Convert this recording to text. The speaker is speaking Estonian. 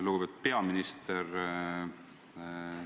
Lugupeetud peaminister!